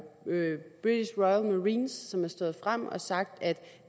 marines som har stået frem og har sagt at